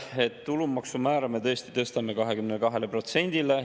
On see motivatsiooni või pürgimise, vähene nõudlikkus enda suhtes ja palga suhtes?